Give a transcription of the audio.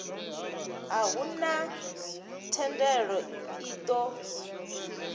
a huna thendelo i ṱo